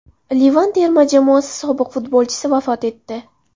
Livan terma jamoasi sobiq futbolchisi vafot etdi.